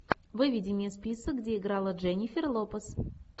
выведи мне список где играла дженнифер лопес